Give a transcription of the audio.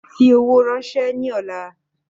Fi owó náà rànsẹ́ ni ọ̀la